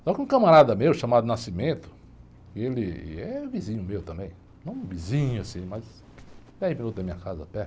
Só que um camarada meu, chamado, ele é vizinho meu também, não vizinho, assim, mas... Dez minutos da minha casa a pé.